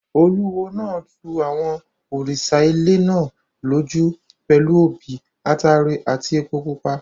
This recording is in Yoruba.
Olúwo náà tu àwọn òrìṣà ilẹ̀ náà lójú pẹ̀lú obì, ataare àti epo pupa.